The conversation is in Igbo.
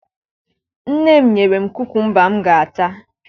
Nne m nyere m kukumba m ga-ata